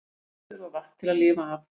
Allir þurfa vatn til að lifa af.